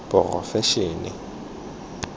porofensing